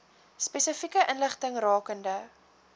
spesifieke inligting rakende